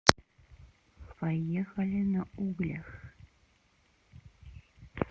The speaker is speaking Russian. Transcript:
поехали на углях